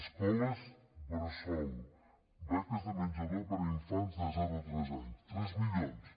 escoles bressol beques de menjador per a infants de zero a tres anys tres milions